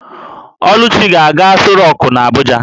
Oluchukwu ga-aga Aso rock n'Abuja